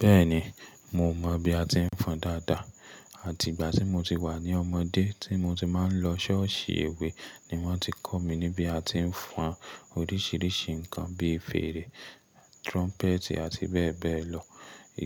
Bẹ́ẹ̀ni, mo mọ̀ bí a ti ń fọn dáadáa. Àti ìgbà tí mo ti wà ní ọmọdé tí mo ti máa ń lọ ṣọ́ọ̀ṣì ewé ni wọ́n ti kọ́ mi ní bí a ti ń fọn oríṣìíríṣìí nǹkan bí fèrè, trumpet àti bẹ́ẹ̀ bẹ́ẹ̀ lọ.